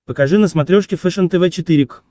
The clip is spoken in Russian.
покажи на смотрешке фэшен тв четыре к